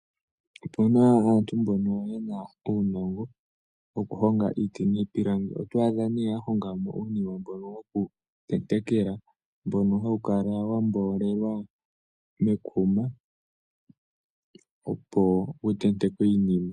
Opuna aantu mbono yena uunongo, wokuhonga iiti niipilangi. Oto adha yahonga uunima mbono wokutentekela, mbono hawu kala wa mboolelwa mekuma, opo wu tentekwe iinima.